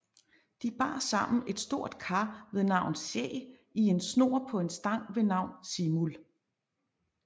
De bar sammen et stort kar ved navn Sæg i en snor på en stang ved navn Simul